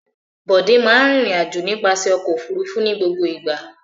Bọ̀dé máa in rìnrìn-àjò nípasẹ̀ ọkọ̀-òfurufú ní gbogbo ìgbà.